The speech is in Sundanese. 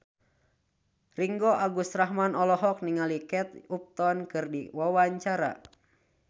Ringgo Agus Rahman olohok ningali Kate Upton keur diwawancara